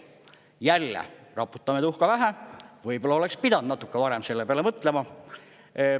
Jälle raputame tuhka pähe, võib-olla oleks pidanud natuke varem selle peale mõtlema.